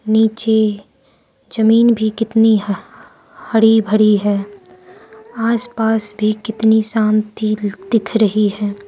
नीचे जमीन भी कितनी हा हरी भरी है आसपास भी कितनी शांति दिख रही है।